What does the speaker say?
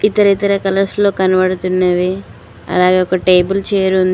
ఇతరితారా colours లో కనబడుతున్నవి అలాగే ఒక టేబుల్ చైర్ ఉంది.